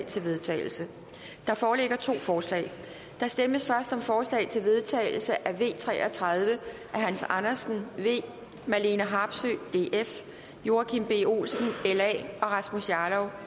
til vedtagelse der foreligger to forslag der stemmes først om forslag til vedtagelse nummer v tre og tredive af hans andersen marlene harpsøe joachim b olsen og rasmus jarlov